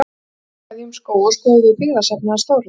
En áður en við kveðjum Skóga skoðum við byggðasafnið hans Þórðar.